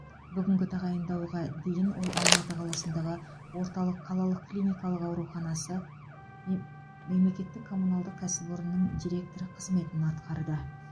бүгінгі тағайындауға дейін ол алматы қаласындағы орталық қалалық клиникалық ауруханасы мем мемлекеттік коммуналдық кәсіпорынының директоры қызметін атқарды